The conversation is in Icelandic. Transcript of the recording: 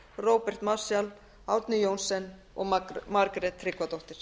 róbert marshall árni johnsen og margrét tryggvadóttir